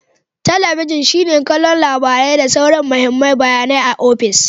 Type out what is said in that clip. Talabijin shine don kallon labarai da sauran mahimman bayanai a ofis.